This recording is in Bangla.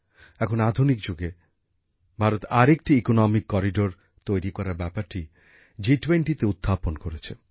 এখন আধুনিক যুগে ভারত আরেকটি অর্থনৈতিক করিডোর তৈরি করার ব্যাপারটি জি20 তে উত্থাপন করেছে